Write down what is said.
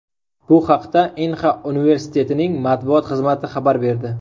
Bu haqda Inha universitetining matbuot xizmati xabar berdi.